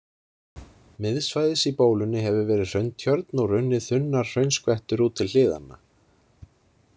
Miðsvæðis í bólunni hefur verið hrauntjörn og runnið þunnar hraunskvettur út til hliðanna.